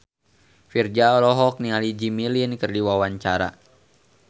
Virzha olohok ningali Jimmy Lin keur diwawancara